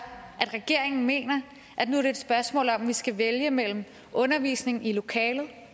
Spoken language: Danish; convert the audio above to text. at regeringen mener at det nu er et spørgsmål om at vi skal vælge mellem undervisning i lokalet